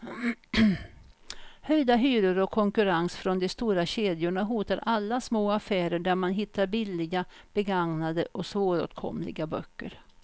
Höjda hyror och konkurrens från de stora kedjorna hotar alla små affärer där man hittar billiga, begagnade och svåråtkomliga böcker.